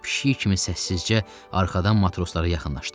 O pişik kimi səssizcə arxadan matroslara yaxınlaşdı.